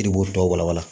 Yiribu tɔw wala wala